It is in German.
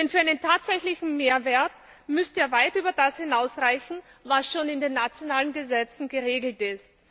Denn für einen tatsächlichen Mehrwert müsste er weit über das hinausreichen, was schon in den nationalen Gesetzen geregelt ist.